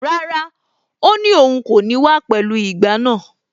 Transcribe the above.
Rárá, ó ní òun kò ní wá pẹ̀lú ìgbá náà.